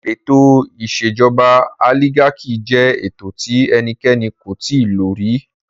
Ètò ìṣèjọba olígákì jẹ ètò tí ẹnikẹ́ni kò tíì lo rí.